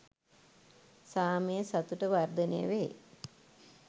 සාමය සතුට වර්ධනය වේ.